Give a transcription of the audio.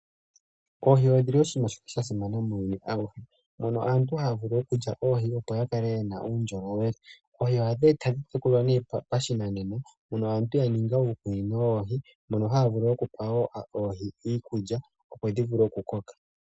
Oohi odhi li oshinima sha simana muuyuni auhe. Mono aantu haya vulu okulya oohi, opo ya kale ye na uundjolowele. Oohi ohadhi tekulwa pashinanena, aantu ya ninga uukunino woohi, mono haya vulu wo okupa oohi iikulya, opo dhi vule okukoka.